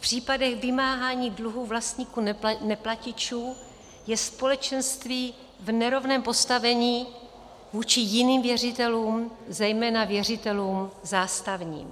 V případech vymáhání dluhů vlastníků-neplatičů je společenství v nerovném postavení vůči jiným věřitelům, zejména věřitelům zástavním.